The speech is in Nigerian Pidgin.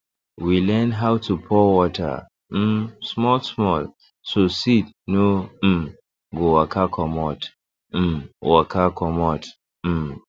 we learn how to pour water um small small so seed no um go waka commot um waka commot um